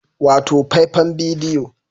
Wato faifan bidiyo